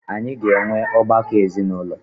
Anyị ga enwe ọgbakọ ezinụlọ.